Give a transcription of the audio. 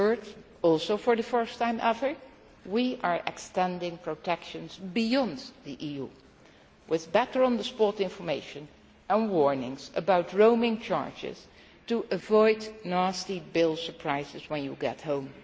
Thirdly, also for the first time ever, we are extending protection beyond the EU, with better on the spot information and warnings about roaming charges, to avoid nasty bill surprises when you get home.